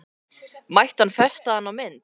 Mætti hann festa hana á mynd?